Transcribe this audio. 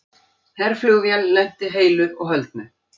Herflugvél lenti heilu og höldnu